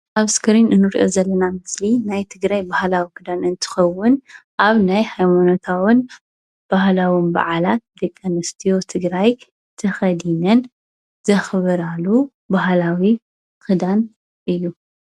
ኣብ እስክሪ እንሪኦ ዘለና ምስሊ ናይ ትግራይ ባህላዊ ክዳን እንትከውን ኣብ ናይ ሃይማኖታውን ባህላውን በዓላት ደቂ ኣንስትዮ ትግራይ ተከዲነን ዘክብራሉ ባህላዊ ክዷን እዩ፡፡